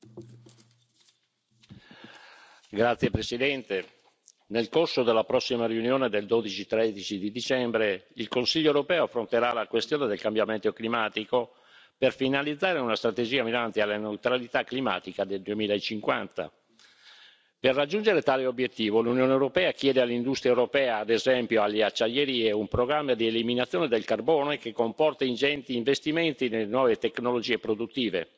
Signora Presidente, onorevoli colleghi, nel corso della prossima riunione del 12 e 13 dicembre, il Consiglio europeo affronterà la questione del cambiamento climatico per finalizzare una strategia mirante alla neutralità climatica nel 2050. Per raggiungere tale obiettivo l'Unione europea chiede all'industria europea, ad esempio alle acciaierie, un programma di eliminazione del carbone che comporta ingenti investimenti nelle nuove tecnologie produttive.